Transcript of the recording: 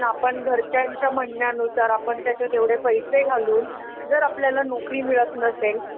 त्यांच्या म्हणण्या नुसार आपण त्याच्यात एवढे पैसे घालून जर आपल्याला नोकरी मिळत नसेल